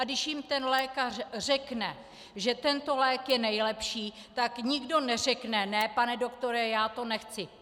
A když jim ten lékař řekne, že tento lék je nejlepší, tak nikdo neřekne, ne, pane doktore, já to nechci.